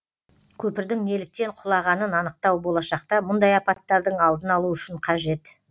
көпірдің неліктен құлағанын анықтау болашақта мұндай апаттардың алдын алу үшін қажет